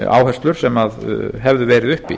áherslur sem hefðu verið uppi